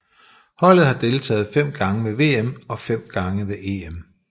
Holdet har deltaget fem gange ved VM og fem gange ved EM